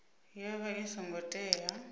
ya vha i songo tea